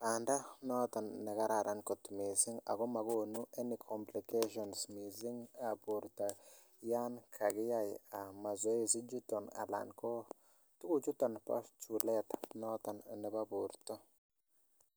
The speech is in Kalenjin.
banda niton nekararan missing ako magonu any complications borta Yoon kakyai mazoezi ko tuguk chuton ko chulet nebo borta